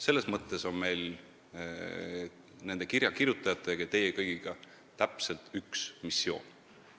Selles mõttes on meil kirja kirjutajatega ja teie kõigiga täpselt üks missioon.